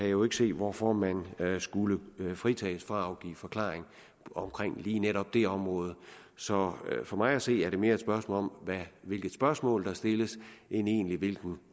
jo ikke se hvorfor man skulle fritages for at afgive forklaring omkring lige netop det område så for mig at se er det mere et spørgsmål om hvilke spørgsmål der stilles end egentlig hvilken